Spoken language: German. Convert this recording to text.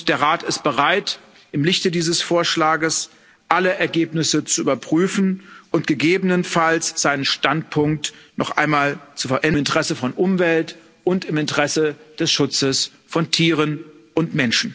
Der Rat ist bereit, im Lichte dieses Vorschlags alle Ergebnisse zu überprüfen und gegebenenfalls seinen Standpunkt noch einmal im Interesse der Umwelt und im Interesse des Schutzes von Tieren und Menschen zu verändern.